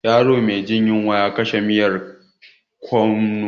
Yaro me jin yunwa ya kwashe miyar kwanon.